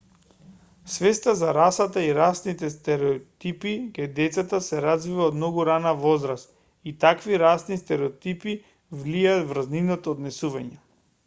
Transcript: свеста за расата и расните стереотипи кај децата се развива од многу рана возраст и таквите расни стереотипи влијаат врз нивното однесување